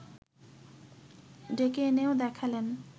ডেকে এনেও দেখালেন